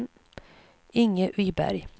Inge Viberg